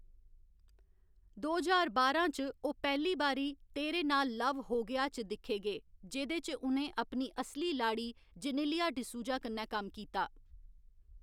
दो ज्हार बारां च, ओह् पैह्ली बारी तेरे नाल लव हो गया च दिक्खे गे, जेह्दे च उ'नें अपनी असली लाड़ी जेनेलिया डिसूजा कन्नै कम्म कीता।